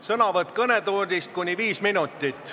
Sõnavõtt kõnetoolist võib kesta kuni viis minutit.